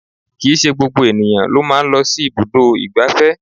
Kìí ṣe gbogbo ènìyàn ló máa ń lọ sí ibùdó ìgbáfẹ́